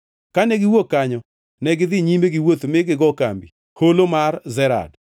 Kane giwuok kanyo negidhi nyime gi wuoth mi gigo kambi Holo mar Zered.